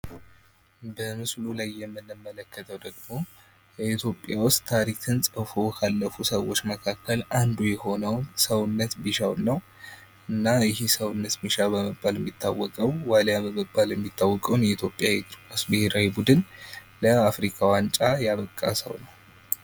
በምስሉ ላይ የምንመለከተዉ ደግሞ የኢትዮጵያ ዉስጥ ታሪክን ፅፎ ካለፉ ሰዎች መካከል አንዱ የሆነዉን ሰዉነት ቢሻዉን ነዉ። እና ይሄ ሰዉነት ቢሻዉ በመባል የሚታወቀዉ ዋልያ በመባል የሚታወቀዉን የኢትዮጵያ እግር ኳስ ቡድን ለአፍሪካ ዋንጫ ያበቃ ነዉ።